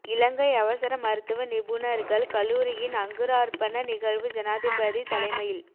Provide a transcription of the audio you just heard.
இலங்கை அவசர மருத்துவ நிபுணர்கள் கல்லூரியின் அங்குரார்ப்பண நிகழ்வு ஜனாதிபதி தலைமையில்